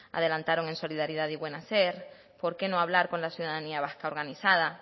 adelantaron en solidaridad y buen hacer por qué no hablar con la ciudadanía vasca organizada